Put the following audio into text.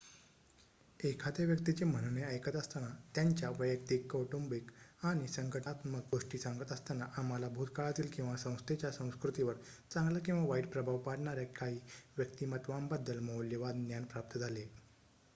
एखाद्या व्यक्तीचे म्हणणे ऐकत असताना त्यांच्या वैयक्तिक कौटुंबिक आणि संघटनात्मक गोष्टी सांगत असताना आम्हाला भूतकाळातील आणि संस्थेच्या संस्कृतीवर चांगला किंवा वाईट प्रभाव पाडणार्‍या काही व्यक्तिमत्त्वांबद्दल मौल्यवान ज्ञान प्राप्त झाले